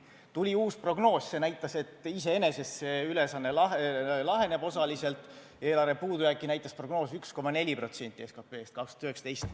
Tuli uus prognoos, see näitas, et iseenesest see ülesanne laheneb osaliselt, eelarve puudujääki näitas prognoos 1,4% SKT-st 2019.